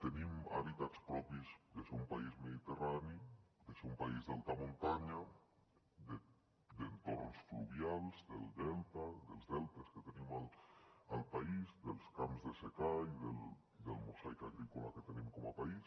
tenim hàbitats propis de ser un país mediterrani de ser un país d’alta muntanya d’entorns fluvials dels deltes que tenim al país dels camps de secà i del mosaic agrícola que tenim com a país